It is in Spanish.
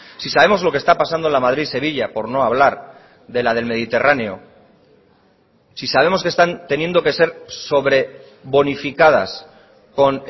si sabemos lo que está pasando en la madrid sevilla por no hablar de la del mediterráneo si sabemos que están teniendo que ser sobrebonificadas con